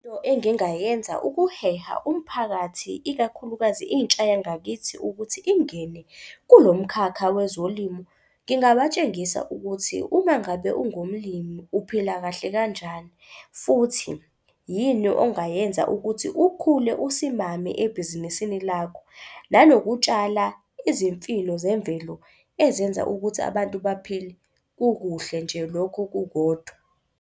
Into engingayenza ukuheha umphakathi, ikakhulukazi intsha yangakithi, ukuthi ingene kulo mkhakha wezolimo. Ngingabatshengisa ukuthi uma ngabe ungumlimi uphila kahle kanjani. Futhi, yini ongayenza ukuthi ukhule usimame ebhizinisini lakho, nanokutshala izimfino zemvelo ezenza ukuthi abantu baphile kukuhle nje lokho kukodwa.